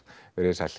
veriði sæl